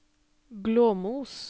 Glåmos